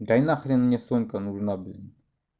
да и на хрен мне сумка нужна блин